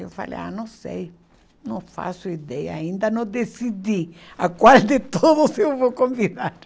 Eu falei, ah, não sei, não faço ideia, ainda não decidi a qual de todos eu vou convidar.